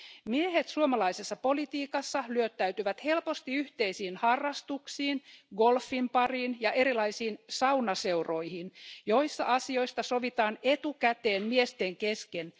Miehet suomalaisessa politiikassa lyöttäytyvät helposti yhteisiin harrastuksiin, kuten esimerkiksi golfin pariin ja erilaisiin saunaseuroihin, joissa asioista sovitaan etukäteen miesten kesken.